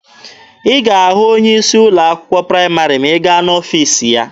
Ị ga-ahụ onye isi ụlọ akwụkwọ praịmarị ma ị gaa n'ọfiisi ya.